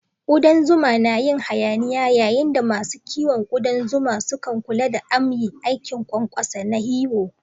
Ƙudan zuma na yin hayaniya yayin da masu kiwon kudan zuma sukan kula da amya, aikin ƙwanƙwasa na hiwo.